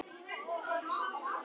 Kolbrún og Gísli.